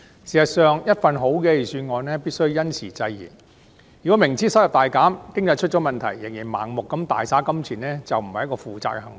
事實上，一份好的預算案必須因時制宜，如果司長明知收入大減、經濟出現問題，仍然盲目地大灑金錢，便是不負責任的行為。